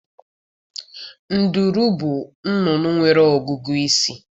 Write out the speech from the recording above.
Nduru bụ nnụnụ nwere ọgụgụ isi.